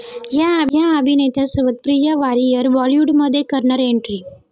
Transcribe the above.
या' अभिनेत्यासोबत प्रिया वारियर बॉलिवूडमध्ये करणार एन्ट्री!